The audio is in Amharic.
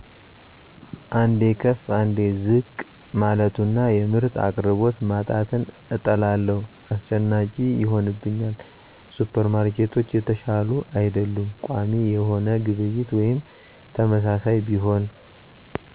አንዴ ከፍ አንዴ ዝቅ ማለቱና የምርት አቅርቦት ማጣትን እጠላለሁ። አስጨናቂ ይሆንብኛል። ሱፐርማርኬቶች የተሻሉ አይደሉም። ቋሚ የሆነ ግብይት ወይም ተመሳሳይ ቢሆን